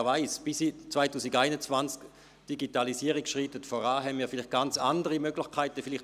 Wer weiss, vielleicht werden wir bis zum Jahr 2021 angesichts der voranschreitenden Digitalisierung ganz andere Möglichkeiten haben.